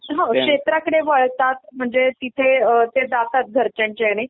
हो क्षेत्राकडे वळतात म्हणजे तिथे अ ते जातात घरच्यांच्या ह्याने